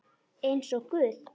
Eins og guð?